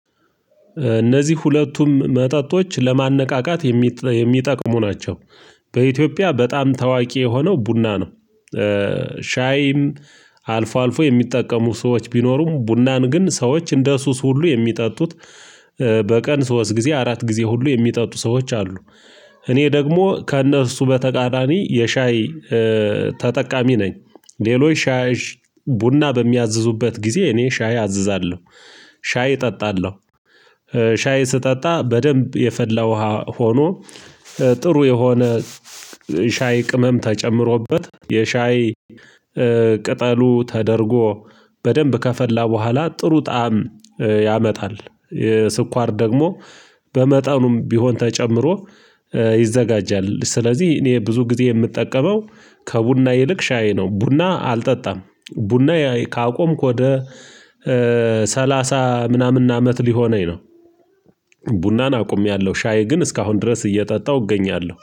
እነዚህ ሁለቱም መጠጦች ለማነቃቃት የሚጠቅሙ ናቸው። በኢትዮጵያ በጣም ታዋቂ የሆነው ቡና ነው። ሻይም አልፎ አልፎ የሚጠቀሙ ሰዎች ቢኖሩም ቡናን ግን ሰዎች እንደ ሱስ ሁሉ የሚጠጡት በቀን ሶስት ጊዜ አራት ጊዜ ሁሉ የሚጠጡ ሰዎች አሉ። እኔ ደግሞ ከእነሱ በተቃራኒ የሻይ ተጠቃሚ ነኝ። ሌሎች ሻይ ቡና በሚያዝዙበት ጊዜ እኔ ሻይ አዝዛለሁ ሻይ እጠጣለሁ። ሻይ ስጠጣ በደንብ የፈላ ውሃ ሆኖ ጥሩ የሆነ ሻይ ቅመም ተጨምሮበት የሻይ ቅጠሉ ተደርጎ በደንብ ከፈላ በኋላ ጥሩ ጣዕም ያመጣል የስኳር ደግሞ በመጠኑም ቢሆን ተጨምሮ ይዘጋጃል። ስለዚህ እኔ ብዙ ጊዜ የምጠቀመው ከቡና ይልቅ ሻይ ነው። ቡና አልጠጣም ቡና ካቆምክ ወደ ሰላሳ ምናምን አመት ሊሆነኝ ነው። ቡናን አቁሜያለሁ ሻይ ግን እስካሁን ድረስ እየጠጣሁ እገኛለሁ